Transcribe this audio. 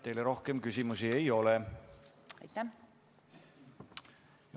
Teile rohkem küsimusi ei ole.